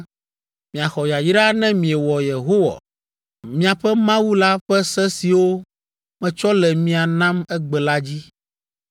Miaxɔ yayra ne miewɔ Yehowa, miaƒe Mawu la ƒe se siwo metsɔ le mia nam egbe la dzi,